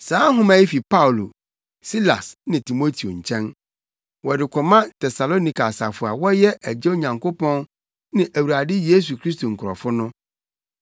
Saa nhoma yi fi Paulo, Silas ne Timoteo nkyɛn, Wɔde kɔma Tesalonika asafo a wɔyɛ Agya Onyankopɔn ne Awurade Yesu Kristo nkurɔfo no: